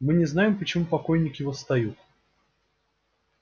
мы не знаем почему покойники восстают